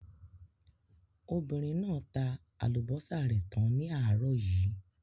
Obìnrin náà tá àlùbọ́sà rẹ̀ tán ní àárọ̀ yìí.